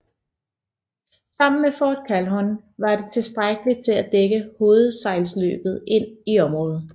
Sammen med Fort Calhoun var det tilstrækkeligt til at dække hovedsejlløbet ind i området